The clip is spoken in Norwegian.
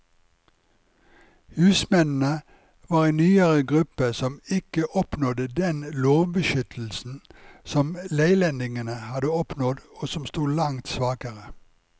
Husmennene var ei nyere gruppe som ikke oppnådde den lovbeskyttelsen som leilendingene hadde oppnådd, og som stod langt svakere.